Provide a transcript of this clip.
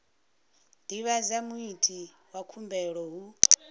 divhadza muiti wa khumbelo hu